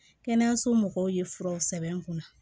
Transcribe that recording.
Kɛnɛyaso mɔgɔw ye furaw sɛbɛn n kunna